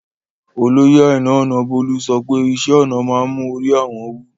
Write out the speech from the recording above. Oloyè Àìnà Ònàbólú sọ̀pẹ̀ ìṣẹ̀-ọnà maa n mú orí àwọn wú